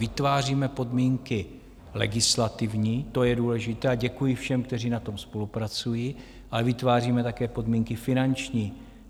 Vytváříme podmínky legislativní, to je důležité, a děkuji všem, kteří na tom spolupracují, ale vytváříme také podmínky finanční.